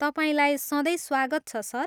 तपाईँलाई सधैँ स्वागत छ, सर।